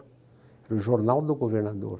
Era o jornal do governador.